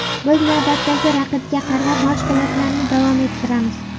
Biz navbatdagi raqibga qarab mashg‘ulotlarni davom ettiramiz.